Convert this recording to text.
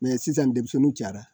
sisan denmisɛnninw cayara